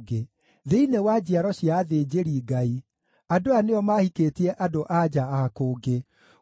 Thĩinĩ wa njiaro cia athĩnjĩri-Ngai, andũ aya nĩo maahikĩtie andũ-a-nja a kũngĩ: